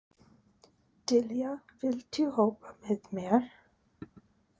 Dilja, viltu hoppa með mér?